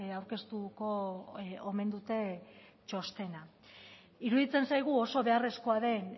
aurkeztuko omen dute txostena iruditzen zaigu oso beharrezkoa den